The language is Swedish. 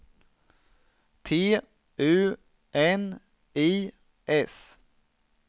T U N I S